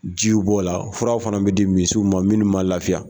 Jiw b'o la furaw fana bɛ di misiw ma minnu ma lafiya